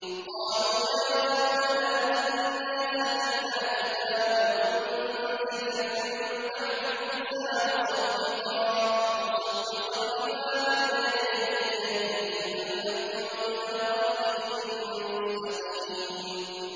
قَالُوا يَا قَوْمَنَا إِنَّا سَمِعْنَا كِتَابًا أُنزِلَ مِن بَعْدِ مُوسَىٰ مُصَدِّقًا لِّمَا بَيْنَ يَدَيْهِ يَهْدِي إِلَى الْحَقِّ وَإِلَىٰ طَرِيقٍ مُّسْتَقِيمٍ